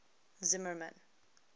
zimmermann